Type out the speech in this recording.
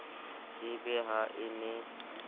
e be ha e ne